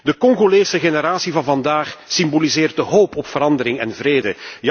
De Congolese generatie van vandaag symboliseert de hoop op verandering en vrede.